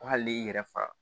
Ko hali y'i yɛrɛ faga